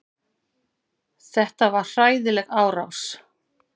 Þetta var hræðileg árás.